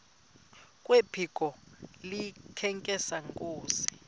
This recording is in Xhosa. kwephiko likahintsathi inkosi